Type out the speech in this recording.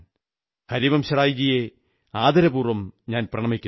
ഹരിവംശറായ് ജിയെ ആദരപൂർവ്വം പ്രണമിക്കുന്നു